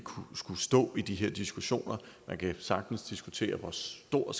skulle stå i de her diskussioner man kan sagtens diskutere hvor stor